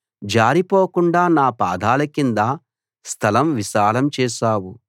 జారిపోకుండా నా పాదాలకింద స్థలం విశాలం చేశావు